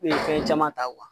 Ee fɛn caman ta